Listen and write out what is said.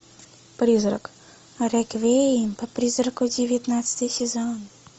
призрак реквием по призраку девятнадцатый сезон